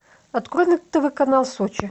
открой на тв канал сочи